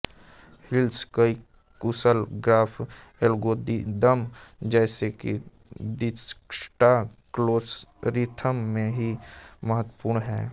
heaps कई कुशल graph algorithms जैसे कि दिज्क्स्ट्रा एल्गोरिथ्म में भी महत्वपूर्ण हैं